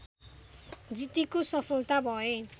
जिद्दीको सफलता भए